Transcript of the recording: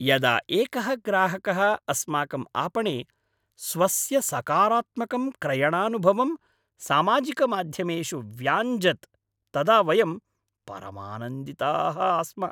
यदा एकः ग्राहकः अस्माकं आपणे स्वस्य सकारात्मकं क्रयणानुभवं सामाजिकमाध्यमेषु व्याञ्जत् तदा वयं परमानन्दिताः आस्म।